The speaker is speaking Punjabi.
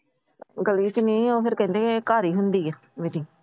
ਗਲੀ ਚ ਨਹੀਂ ਓ ਕੇਹਂਦੇ ਫਿਰ ਘਰ ਈ ਹੁੰਦੀ ਏ Metting ।